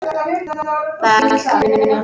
Það er allt að hrynja.